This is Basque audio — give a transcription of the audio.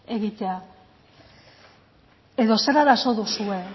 egitea edo zer arazo duzue